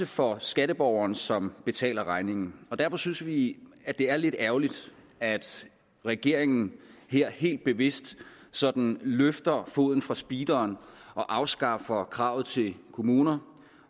for skatteborgeren som betaler regningen derfor synes vi at det er lidt ærgerligt at regeringen her helt bevidst sådan løfter foden fra speederen og afskaffer kravet til kommuner